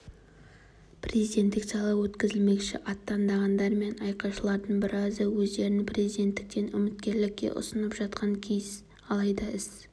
президенттік сайлау өткізілмекші аттандағандар мен айқайшылардың біразы өздерін президенттіктен үміткерлікке ұсынып жатқан кез алайда іс